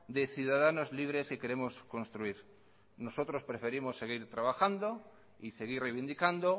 de ciudadanos libres que queremos construir nosotros preferimos seguir trabajando y seguir reivindicando